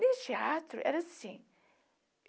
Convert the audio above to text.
Nesse teatro era assim.